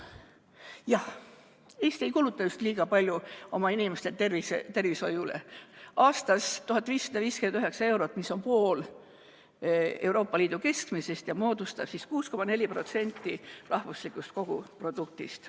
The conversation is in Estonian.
Jah, Eesti ei kuluta just liiga palju oma inimeste tervishoiule: aastas 1559 eurot, mis on pool Euroopa Liidu keskmisest ja moodustab 6,4% rahvuslikust koguproduktist.